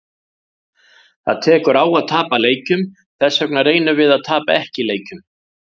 Það tekur á að tapa leikjum, þessvegna reynum við að tapa ekki leikjum.